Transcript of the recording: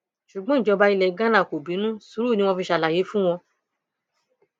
ṣùgbọn ìjọba ilẹ ghana kò bínú sùúrù ni wọn fi ṣe àlàyé fún wọn